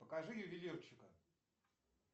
покажи ювелирчика